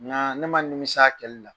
Ŋaa ne ma nimis'a kɛli la.